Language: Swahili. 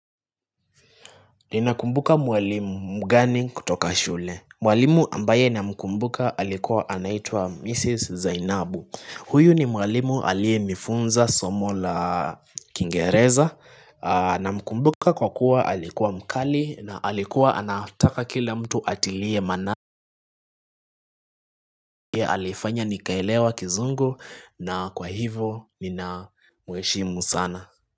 Ninakumbuka mwalimu mgani kutoka shule Mwalimu ambaye namkumbuka alikuwa anaitua Mrs. Zainabu huyu ni mwalimu aliye nifunza Somo la Kingereza Namkumbuka kwa kuwa alikuwa mkali na alikuwa anataka kila mtu atilie manani Alifanya nikaelewa kizungu na kwa hivo nina mheshimu sana.